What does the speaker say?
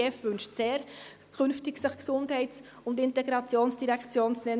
Die GEF wünscht sehr, sich künftig Gesundheits- und Integrationsdirektion zu nennen.